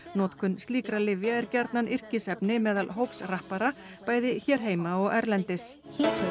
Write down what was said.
notkun slíkra lyfja er gjarnan yrkisefni meðal hóps rappara bæði hér heima og erlendis